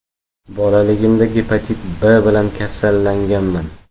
Bolaligimda gepatit B bilan kasallanganman.